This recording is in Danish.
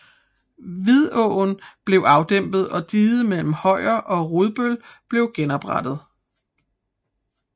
Vidåen blev afdæmmet og diget mellem Højer og Rudbøl blev oprettet